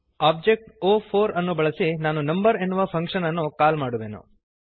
object ಒ4 ಅನ್ನು ಬಳಸಿ ನಾನು ನಂಬರ್ ಎನ್ನುವ ಫಂಕ್ಶನ್ ಅನ್ನು ಕಾಲ್ ಮಾಡುವೆನು